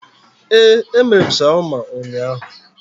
Ee, emere m shawama ụnyaahụ